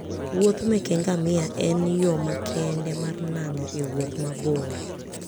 Wuoth meke ngamia en yo makende mar nano e wuoth mabor.